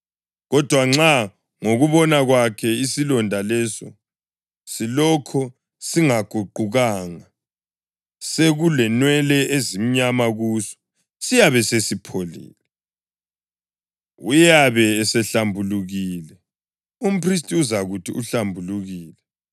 Kodwa nxa ngokubona kwakhe isilonda leso silokhu singaguqukanga sekulenwele ezimnyama kuso, siyabe sesipholile. Uyabe esehlambulukile, umphristi uzakuthi uhlambulukile.